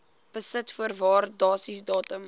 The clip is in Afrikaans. besit voor waardasiedatum